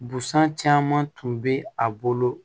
Busan caman tun bɛ a bolo